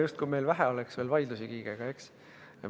Justkui meil Kiigega veel vähe vaidlusi oleks!